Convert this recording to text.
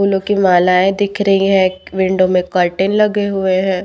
फूलों की मालाएं दिख रही हैं विंडो में कर्टन लगे हुए हैं।